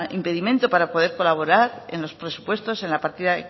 impedimento para poder colaborar en los presupuestos en la partida